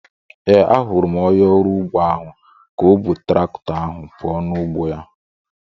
Ee, ahụrụ m onye ọrụ ugbo ahu ka o bu traktọ ahụ puo n'ugbo ya